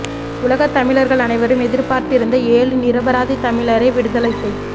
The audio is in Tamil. உலகத் தமிழர்கள் அனைவரும் எதிர்பார்த்திருந்த ஏழு நிரபராதி தமிழரை விடுதலை செய்